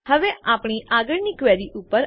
હવે આપણી આગળની ક્વેરી ઉપર